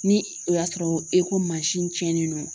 Ni o y'a sɔrɔ e ko mansin ciɲɛnen don.